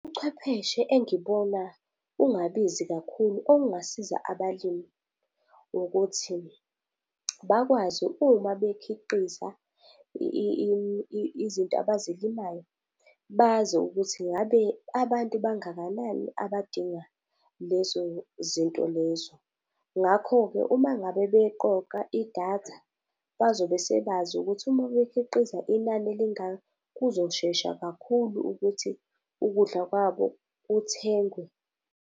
Ubuchwepheshe engibona bungabizi kakhulu obungasiza abalimi ukuthi, bakwazi uma bekhiqiza izinto abazilimayo, bazi ukuthi ingabe abantu bangakanani abadinga lezo zinto lezo. Ngakho-ke uma ngabe beqoqa idatha bazobe sebazi ukuthi uma bekhiqiza inani elingaka kuzoshesha kakhulu ukuthi ukudla kwabo kuthengwe.